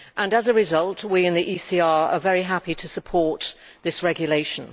As a result, we in the ECR are very happy to support this regulation.